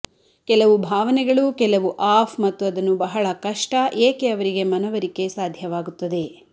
ಕೆಲವು ಭಾವನೆಗಳು ಕೆಲವು ಆಫ್ ಮತ್ತು ಅದನ್ನು ಬಹಳ ಕಷ್ಟ ಏಕೆ ಅವರಿಗೆ ಮನವರಿಕೆ ಸಾಧ್ಯವಾಗುತ್ತದೆ